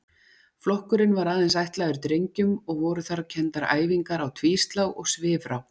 Flokkurinn var aðeins ætlaður drengjum og voru þar kenndar æfingar á tvíslá og svifrá.